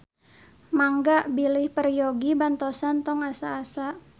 Mangga bilih peryogi bantosan tong asa-asa.